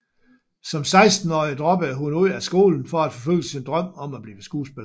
Som 16 årig droppede hun ud af skolen for at forfølge sin drøm om at blive skuespiller